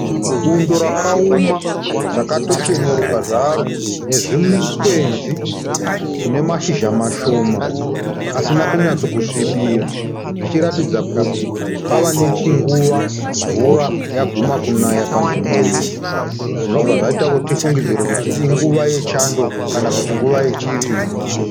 Bundo rakaoma rakatocheneruka zvaro nezvikwenzi zvinamashizha mashoma asina kunyatsokusvibira zvichiratidza kuti pava nechinguva mvura yaguma kunaya panzvimbo iyi, zvinobva zvaita tifungidzire kuti inguvai yechando kana kuti nguva yechirimo.